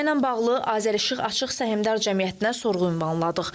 Məsələ ilə bağlı Azərişıq Açıq Səhmdar Cəmiyyətinə sorğu ünvanladıq.